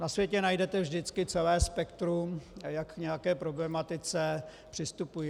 Na světě najdete vždy celé spektrum, jak k nějaké problematice přistupují.